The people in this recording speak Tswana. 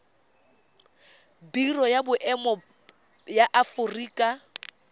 biro ya boemo ya aforika